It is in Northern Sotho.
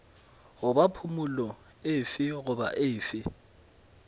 goba phumolo efe goba efe